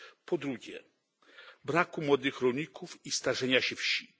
Po drugie braku młodych rolników i starzenia się wsi.